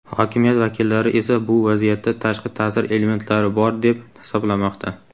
Hokimiyat vakillari esa bu vaziyatda tashqi ta’sir elementlari bor deb hisoblamoqda.